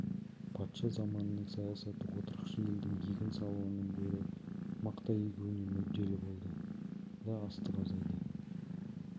патша заманының саясаты отырықшы елдің егін салуынан гөрі мақта егуіне мүдделі болды да астық азайды